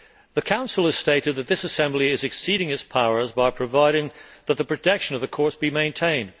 The Council has stated that this assembly is exceeding its powers by providing that the protection of the courts be maintained.